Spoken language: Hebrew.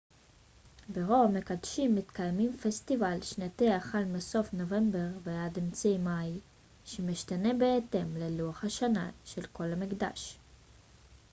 ברוב המקדשים מתקיים פסטיבל שנתי החל מסוף נובמבר ועד אמצע מאי שמשתנה בהתאם ללוח השנה של כל מקדש